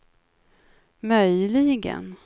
möjligen